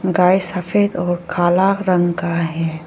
गाय सफेद और काला रंग का है।